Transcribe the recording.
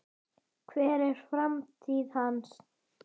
Hver er framtíð hans?